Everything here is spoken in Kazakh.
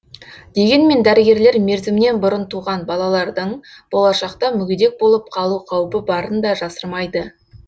дегенмен дәрігерлер мерзімінен бұрын туған балалардың болашақта мүгедек болып қалу қаупі барын да жасырмайды